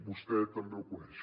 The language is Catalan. vostè també ho coneix